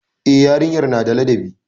E, yarinyar na da ladabi.